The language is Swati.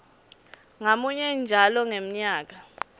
ngamunye njalo ngemnyaka